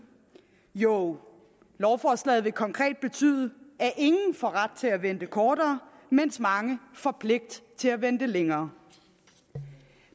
jo lovforslaget vil konkret betyde at ingen får ret til at vente kortere mens mange får pligt til at vente længere